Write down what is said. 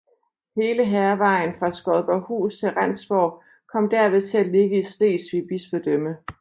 Hele Hærvejen fra Skodborghus til Rendsborg kom derved til at ligge i Slesvig Bispedømme